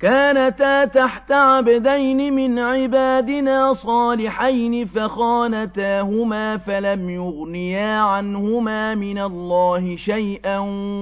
كَانَتَا تَحْتَ عَبْدَيْنِ مِنْ عِبَادِنَا صَالِحَيْنِ فَخَانَتَاهُمَا فَلَمْ يُغْنِيَا عَنْهُمَا مِنَ اللَّهِ شَيْئًا